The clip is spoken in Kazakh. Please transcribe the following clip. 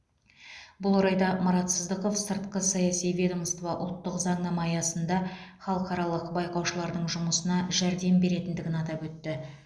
бұл орайда марат сыздықов сыртқы саяси ведомство ұлттық заңнама аясында халықаралық байқаушылардың жұмысына жәрдем беретіндігін атап өтті